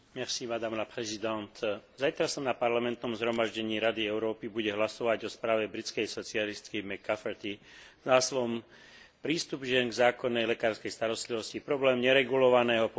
Zajtra sa na parlamentnom zhromaždení Rady Európy bude hlasovať o správe britskej socialistky McCafferty s názvom Prístup žien k zákonnej lekárskej starostlivosti, problém neregulovaného používania výhrady vo svedomí.